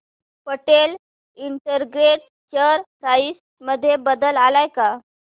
Patel integrated share price मध्ये बदल आलाय का